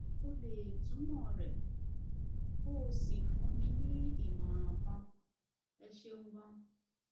ṣé o lè o lè túmọ rẹ kó o sì fún mi ní ìmọràn kan ẹ ṣeun ganan